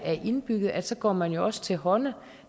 er indbygget at så går man også til hånde